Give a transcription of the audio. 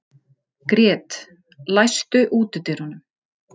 Grét, læstu útidyrunum.